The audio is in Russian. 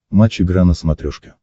матч игра на смотрешке